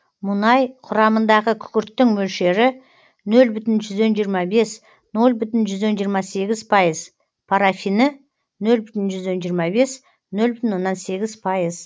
мұнай құрамындағы күкірттің мөлшері нөл бүтін жүзден жиырма бес нөл бүтін жүзден жиырма сегіз пайыз парафині нөл бүтін жүзден жиырма бес нөл бүтін оннан сегіз пайыз